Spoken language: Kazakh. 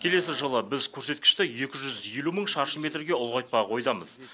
келесі жылы біз көрсеткішті екі жүз елу мың шаршы метрге ұлғайтпақ ойдамыз